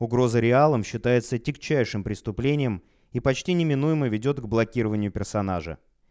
угрозы реалом считается тягчайщим преступлением и почти неминуемо ведёт к блокированию персонажа